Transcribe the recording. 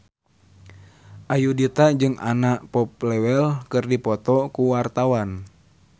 Ayudhita jeung Anna Popplewell keur dipoto ku wartawan